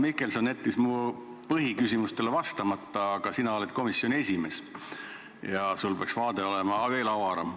Kahjuks jättis Marko Mihkelson mu põhiküsimustele vastamata, aga sina oled komisjoni esimees ja sinu vaade peaks olema veelgi avaram.